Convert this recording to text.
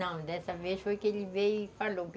Não, dessa vez foi que ele veio e falou.